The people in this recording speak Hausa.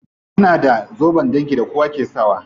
Suna da zoben dangi da kowa ke sakawa.